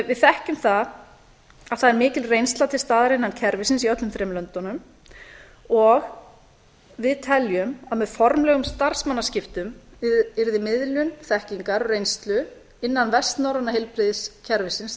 við þekkjum það að það er mikil reynsla til staðar innan kerfisins í öllum þremur löndunum og við teljum að með formlegum starfsmannaskiptum yrði miðlun þekkingar og reynslu innan vestnorræna heilbrigðiskerfisins tryggð